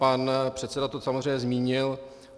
Pan předseda to samozřejmě zmínil.